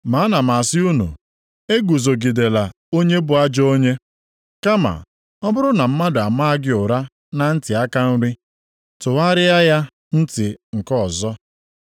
Ma ana m asị unu eguzogidela onye bụ ajọ onye. Kama ọ bụrụ na mmadụ amaa gị ụra na ntị aka nri, tụgharịara ya ntị nke ọzọ.